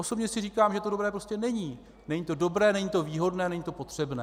Osobně si říkám, že to dobré prostě není, není to dobré, není to výhodné, není to potřebné.